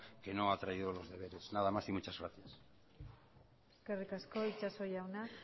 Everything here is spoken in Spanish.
que no ha traído los deberes nada más y muchas gracias eskerrik asko itxaso jauna